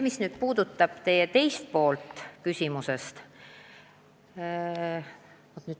Mis puudutab teie küsimuse teist poolt ...